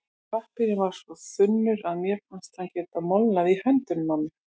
Pappírinn var svo þunnur að mér fannst hann geta molnað í höndunum á mér.